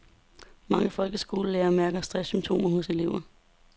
Mange folkeskolelærere mærker stresssymptomer hos elever.